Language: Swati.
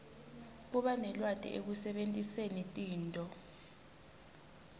kubanelwati ekusebentiseni tinto